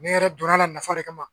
Ne yɛrɛ donna la nafa de kama